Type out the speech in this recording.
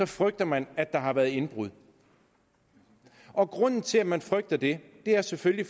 frygter man at der har været indbrud og grunden til at man frygter det er selvfølgelig